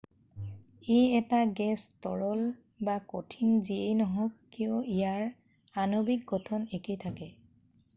ই এটা গেছ তৰল বা কঠিন যিয়েই নহওক কিয় ইয়াৰ আণৱিক গঠন একেই থাকে